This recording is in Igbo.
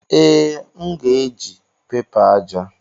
Ee, m ga-eji pẹpa aja.